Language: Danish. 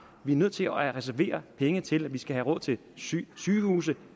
vi er nødt til at reservere penge til at vi skal have råd til sygehuse